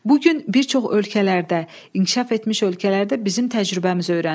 Bugün bir çox ölkələrdə, inkişaf etmiş ölkələrdə bizim təcrübəmiz öyrənilir.